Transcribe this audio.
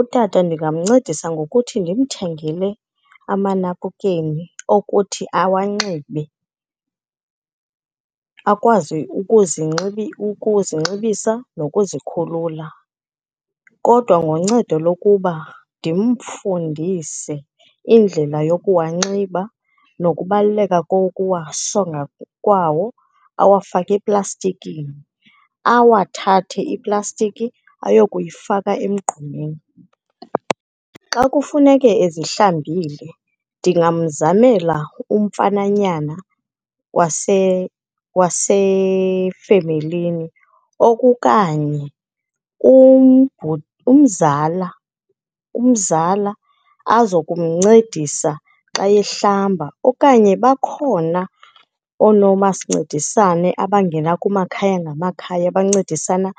Utata ndingamncedisa ngokuthi ndimthengele amanapukeni okuthi awanxibe, akwazi ukuzinxibisa nokuzikhulula kodwa ngoncedo lokuba ndimfundise indlela yokuwanxiba nokubaluleka kokuwasonga kwawo, awafake eplastikini, awathathe iplastiki ayokuyifaka emgqomeni. Xa kufuneke ezihlambile, ndingamzamela umfananyana wasefemelini okukanye umzala azokumncedisa xa ehlamba, okanye bakhona oonomasincedisane abangena kumakhaya ngamakhaya bancedisana